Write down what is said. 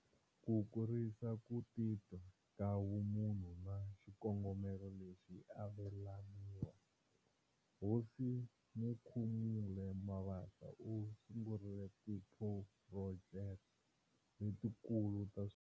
Ku kurisa ku titwa ka vumunhu na xikongomelo lexi avelaniwa, Hosi Mukhumuli Mabasa u sungurile tiphurojeke letikulu ta.